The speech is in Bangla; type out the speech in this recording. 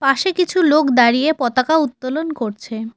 পাশে কিছু লোক দাঁড়িয়ে পতাকা উত্তোলন করছে।